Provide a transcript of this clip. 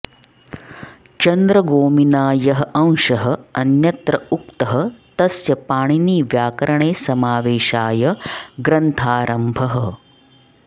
चन्द्रगोमिना यः अंशः अन्यत्र उक्तः तस्य पाणिनिव्याकरणे समावेशाय ग्रन्थारम्भः